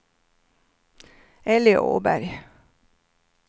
Elly Åberg